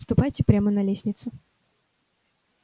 ступайте прямо на лестницу